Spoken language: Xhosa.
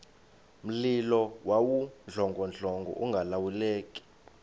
mlilo wawudlongodlongo ungalawuleki